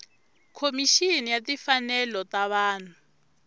khomixini ya timfanelo ta vanhu